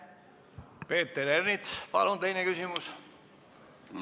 Peeter Ernits, palun teine küsimus!